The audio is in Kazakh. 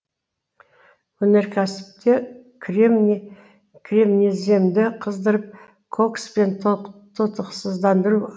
өнеркәсіпте кремний кремнеземді қыздырып кокспен тотықсыздандыру